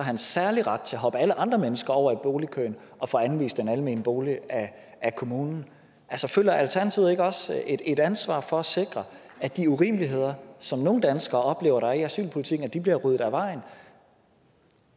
en særlig ret til at hoppe alle andre mennesker over i boligkøen og få anvist en almen bolig af kommunen altså føler alternativet ikke også et et ansvar for at sikre at de urimeligheder som nogle danskere oplever at der er i asylpolitikken bliver ryddet af vejen